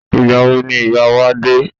Ìgbà wo ni ìyá wa dé?